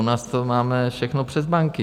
U nás to máme všechno přes banky.